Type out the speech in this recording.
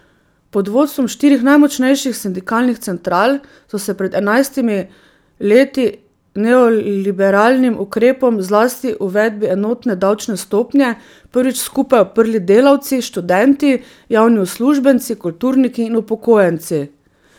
Pod vodstvom štirih najmočnejših sindikalnih central so se pred enajstimi leti neoliberalnim ukrepom, zlasti uvedbi enotne davčne stopnje, prvič skupaj uprli delavci, študenti, javni uslužbenci, kulturniki in upokojenci.